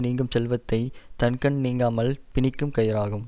நீங்கும் செல்வத்தை தன்கண் நீங்காமல் பிணிக்கும் கயிறாம்